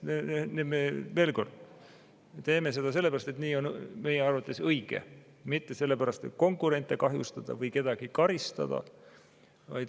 Veel kord, me teeme seda sellepärast, et nii on meie arvates õige, mitte selle pärast, et konkurente kahjustada või kedagi karistada.